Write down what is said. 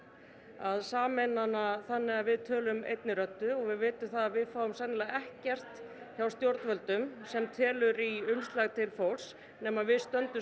að sameina hana þannig að við tölum einni röddu og við vitum það að við fáum sennilega ekkert hjá stjórnvöldum sem telur í umslag til fólks nema við stöndum